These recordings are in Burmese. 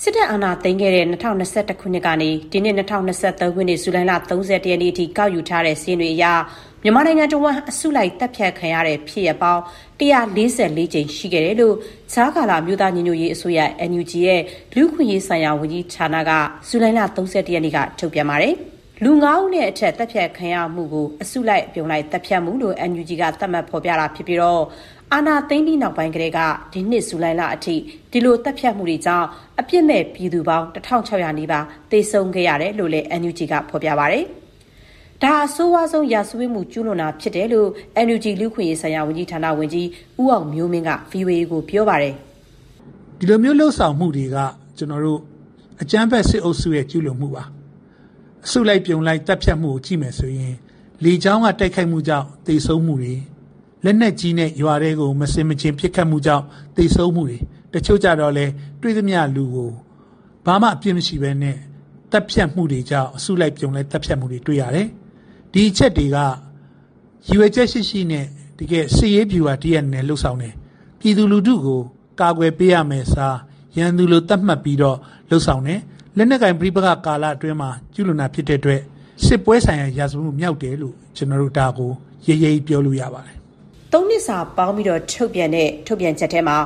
စစ်တပ် အာဏာသိမ်းခဲ့တဲ့ ၂၀၂၁ ခုနှစ်ကနေ ဒီနှစ် ၂၀၂၃ ဇူလိုင်လ ၃၁ ရက်နေ့ထိ ကောက်ယူထားတဲ့စာရင်းတွေအရ မြန်မာနိုင်ငံတဝန်း အစုလိုက် သတ်ဖြတ်ခံရတဲ့ ဖြစ်ရပ်ပေါင်း ၁၄၄ ကြိမ်ရှိခဲ့တယ်လို့ ကြားကာလ အမျိုးသားညီညွတ်ရေးအစိုးရ (NUG) လူ့အခွင့်အရေးဆိုင်ရာ ၀န်ကြီး ဌာနက ဇူလိုင်လ ၃၁ ရက်နေ့က ထုတ်ပြန်လိုက်တာပါ။ လူ ၅ ဦး နဲ့အထက် သတ်ဖြတ်ခံရမှုကို အစုလိုက် အပြုံလိုက် သတ်ဖြတ်မှုလို့ NUG က သတ်မှတ် ဖော်ပြတာ ဖြစ်ပြီး အာဏာသိမ်းပြီးကတည်းကနေ ဒီနှစ် ဇူလိုင်လ အထိ ဒီလို သတ်ဖြတ်မှုတွေကြောင့် အပြစ်မဲ့ ပြည်သူ ၁,၆၀၀ နီးပါး အသတ်ခံခဲ့ရတယ်လို့ NUG က ပြောပါတယ်။ ဒါဟာ အဆိုးရွားဆုံး စစ်ရာဇဝတ်မှု ကျူးလွန်တာ ဖြစ်တယ်လို့ NUG လူ့အခွင့်အရေးဆိုင်ရာ ၀န်ကြီးဌာန ဝန်ကြီး ဦးအောင်မျိုးမင်းက ဗွီအိုအေကို ပြောပါတယ်။ "ဒီလိုမျိုးလုပ်ဆောင်မှုတွေက အကြမ်းဖက်စစ်အုပ်စုရဲ့ ကျူးလွန်မှုပါ။ အစုလိုက် အပြုံလိုက်သတ်ဖြတ်မှုတွေကို ကြည့်ရင် လေကြောင်းက တိုက်ခိုက်မှုတွေကြောင့် သေဆုံးမှုတွေလက်နက်ကြီးနဲ့ရွာထဲကို မဆင်မခြင်ပစ်ခတ်မှုကြောင့် သေဆုံးမှုတွေ တချို့ကျတော့လည်း တွေ့သမျှလူကို ဘာမှမဟုတ်ဘဲ သတ်ဖြတ်တာတွေကြောင့် အစုလိုက်အပြုံလိုက် သတ်ဖြတ်တာတွေ တွေ့ရတယ်။ ဒီအချက်တွေက ရည်ရွယ်ချက်ရှိရှိနဲ့ တကယ် စစ်ရေးဗျူဟာတရပ် အနေနဲ့ လုပ်ဆောင်နေတာ။ ပြည်သူကို ကာကွယ်ပေးရမယ့် အစား ရန်သူလို သတ်မှတ်ပြီး လုပ်ဆောင်တယ်။ လက်နက်ကိုင် ပဋိပက္ခကာလအတွင်း ကျူးလွန်တာ ဖြစ်တဲ့အတွက် စစ်ပွဲဆိုင်ရာ ရာဇဝတ်မြောက်တယ်လို့ ကျနော်တို့ ရဲရဲကြီးပြောလို့ ရပါတယ်။" ၃ နှစ်စာပေါင်းပြီး ထုတ်ပြန်တာမှာ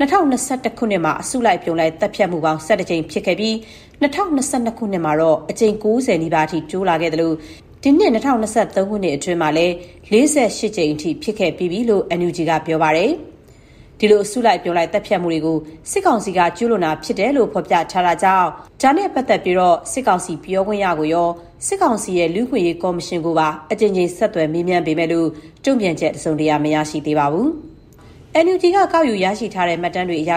၂၀၂၁ ခုနှစ်မှာ အစုလိုက် အပြုံလိုက် သတ်ဖြတ်မှု ၁၁ ကြိမ် ဖြစ်ခဲ့ပြီး ၂၀၂၂ ခုနှစ်မှာ အကြိမ် ၉၀ နီးပါးအထိ တိုးလာခဲ့သလို၊ ဒီနှစ် ၂၀၂၃ ခုနှစ်အတွင်းမှာလည်း ၄၈ ကြိမ် ဖြစ်ခဲ့ပြီးပြီလို့ NUG က ပြောပါတယ်။ ဒီအစုလိုက် အပြုံလိုက် သတ်ဖြတ်မှုတွေကို စစ်ကောင်စီဘက်က ကျူးလွန်တာ ဖြစ်တယ်လို့ ဖော်ပြထားတာမို့ စစ်ကောင်စီပြောခွင့်ရကိုရော၊ စစ်ကောင်စီရဲ့ လူ့အခွင့်အရေး ကော်မရှင်ကိုပါ အကြိမ်ကြိမ် ဆက်သွယ်မေးမြန်းပေမဲ့ တုံ့ပြန်ချက် တစုံတရာ မရရှိသေးပါဘူး။ ကောက်ယူရရှိထားတဲ့ မှတ်တမ်းတွေအရ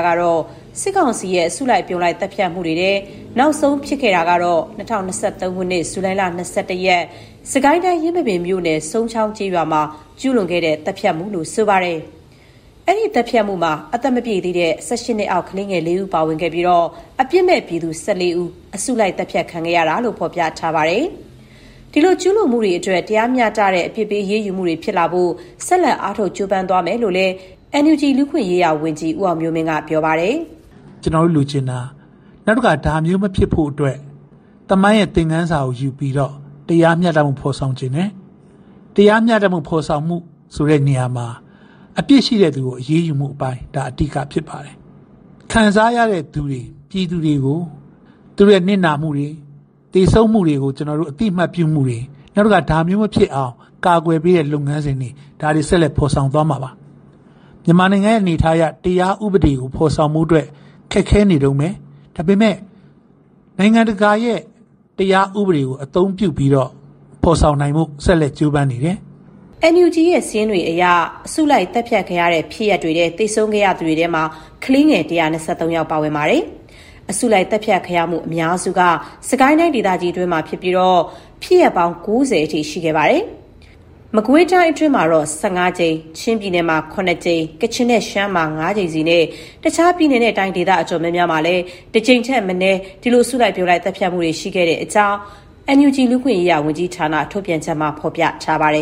စစ်ကောင်စီရဲ့ အစုလိုက် အပြုံလိုက် သတ်ဖြတ်မှုတွေထဲ နောက်ဆုံး ဖြစ်ခဲ့တာကတော့ ၂၀၂၃ ခုနှစ်၊ ဇူလိုင်လ ၂၁ ရက်နေ့၊ စစ်ကိုင်းတိုင်း၊ ယင်းမာပင်မြို့နယ်၊ စုန်းချောင်း ကျေးရွာမှာ ကျူးလွန်ခဲ့တဲ့ သတ်ဖြတ်မှုလို့ ဆိုပါတယ်။ အဲဒီသတ်ဖြတ်မှုမှာ အသက်မပြည့်သေးတဲ့ (၁၈) နှစ်အောက်ကလေး (၄) ဦး ပါဝင်ခဲ့ပြီး အပြစ်မဲ့ပြည်သူ (၁၄) ဦး အစုလိုက် သတ်ဖြတ်ခံခဲ့ရတယ်လို့ ဖော်ပြထားပါတယ်။ ဒီလို ကျူးလွန်မှုတွေ အတွက် တရားမျှတတဲ့ အပြစ်ပေးအရေးယူမှုတွေ ဖြစ်လာဖို့ ဆက်လက် အားထုတ် ကြိုးပမ်းသွားမယ်လို့လည်း NUG လူ့အခွင့်အရေးဝန်ကြီး ဦးအောင်မျိုးမင်းက ပြောပါတယ်။ "ကျနော်တို့လိုချင်တာ နောက်တခါ ဒါမျိုးမဖြစ်ဖို့အတွက် သမိုင်းသင်ခန်းစာယူပြီးတော့ တရားမျှတမှု ဖော်ဆောင်ချင်တာပါ။ တရားမျှတမှု ဖော်ဆောင်တဲ့အပိုင်းမှာ အပြစ်ရှိတဲ့သူကို အရေးယူတဲ့ အပိုင်းက အဓိကဖြစ်ပါတယ်။ ခံစားရတဲ့ ပြည်သူတွေကို သူတို့ရဲ့နစ်နာမှုတွေ သေဆုံးမှုတွေကို အသိအမှတ်ပြုမှုတွေ၊ နောက်တခါ ဒါမျိုးမဖြစ်အောင် လုပ်ဆောင်ပေးဖို့တွေ၊ ဒါတွေ ဆက်လက် ဖော်ဆောင်ပေးမှာပါ။ မြန်မာနိုင်ငံ အနေအထားအရ တရားဥပဒေကို ဖော်ဆောင်ဖို့ ခက်ခဲနေတုန်းပဲ။ ဒါပေမဲ့ နိုင်ငံတကာ တရားဥပဒေကို အသုံးပြုပြီးတော့ ဖော်ဆောင်နိုင်ဖို့ ဆက်လက် ကြိုးပမ်းနေတယ်။" NUG ရဲ့ စာရင်းတွေအရ သေဆုံးသူတွေထဲမှာ ကလေးငယ် ၁၂၃ ယောက် ပါဝင်ပါတယ်။ အစုလိုက်သတ်ဖြတ်ခံရမှု အများစုက စစ်ကိုင်းတိုင်း ဒေသကြီးအတွင်းမှာဖြစ်ပြီး ဖြစ်ရပ်ပေါင်း ၉၀ အထိ ရှိခဲ့ပါတယ်။ မကွေးတိုင်းမှာတော ၁၅ ကြိမ်၊ ချင်းမှာ ၇ ကြိမ်၊ ကချင်နဲ့ ရှမ်းမှာ ၅ ကြိမ်စီနဲ့ တခြား ပြည်နယ်နဲ့ တိုင်းဒေသ အတော်များများမှာလည်း တကြိမ်ထက်မနည်း ရှိတဲ့အကြောင်း NUG လူ့အခွင့်အရေး ဝန်ကြီးဌာန ထုတ်ပြန်ချက်မှာ ဖော်ပြထားပါတယ်